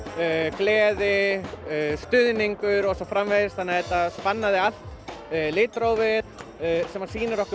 gleði stuðningur og svo framvegis þannig að þetta spannaði allt litrófið sem sýnir okkur